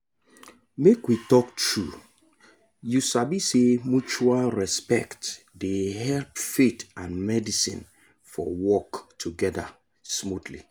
make we talk true you sabi say mutual respect dey help faith and medicine for work together smoothly